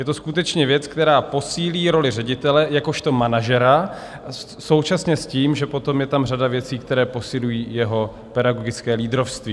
Je to skutečně věc, která posílí roli ředitele jakožto manažera, současně s tím, že potom je tam řada věcí, které posilují jeho pedagogické lídrovství.